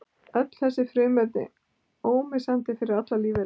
Öll eru þessi frumefni ómissandi fyrir allar lífverur.